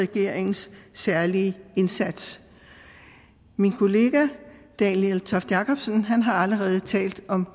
regeringens særlige indsats min kollega daniel toft jakobsen har allerede talt om